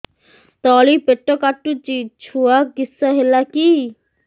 ତଳିପେଟ କାଟୁଚି ଛୁଆ କିଶ ହେଲା କି